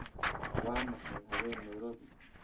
waa maxay habeen nairobi